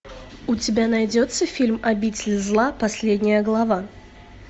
у тебя найдется фильм обитель зла последняя глава